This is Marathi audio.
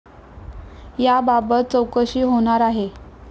याबाबत चौकशी होणार आहे.